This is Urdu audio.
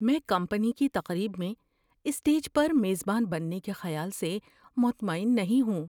میں کمپنی کی تقریب میں اسٹیج پر میزبان بننے کے خیال سے مطمئن نہیں ہوں۔